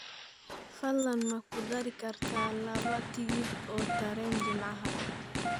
fadlan ma ku dari kartaa laba tigidh oo tareen jimcahaan